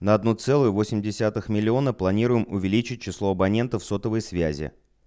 на одну целую восемь десятых миллиона планируем увеличить число абонентов сотовой связи